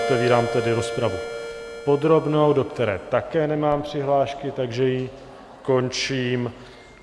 Otevírám tedy rozpravu podrobnou, do které také nemám přihlášky, takže ji končím.